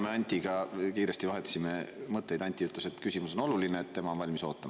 Me Antiga vahetasime kiiresti mõtteid ja Anti ütles, et küsimus on nii oluline, et tema on valmis ootama.